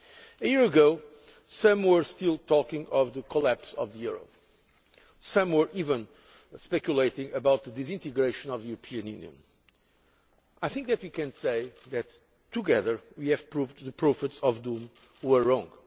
A year ago, some were still talking of the collapse of the euro, some were even speculating about the disintegration of the European Union. I think we can say that, together, we have proved that the prophets of doom were wrong.